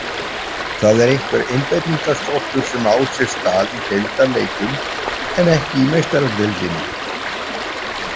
Það er einhver einbeitingarskortur sem á sér stað í deildarleikjum en ekki í Meistaradeildinni.